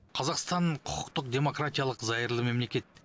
қазақстан құқықтық демократиялық зайырлы мемлекет